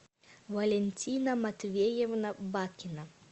валентина матвеевна бакина